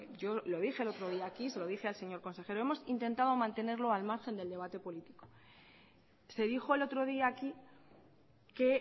yo lo dije el otro día aquí se lo dije al señor consejero hemos intentado mantenerlo al margen del debate político se dijo el otro día aquí que